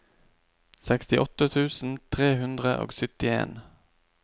sekstiåtte tusen tre hundre og syttien